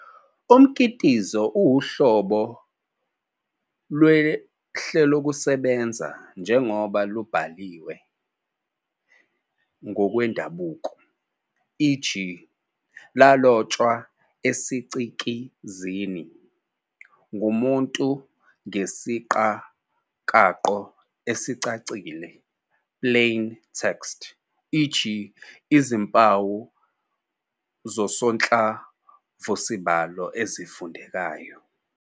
Umkitizo uwuhlobo lwehlelokusebenza njengoba lubhaliwe ngokwendabuko, i.e., lalotshwa esicikizini, ngumuntu ngesiqakaqo esicacile "plain text", i.e., izimpawu zosonhlamvusibalo ezifundekayo.